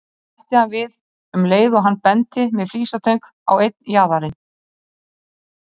Svo bætti hann við um leið og hann benti með flísatöng á einn jaðarinn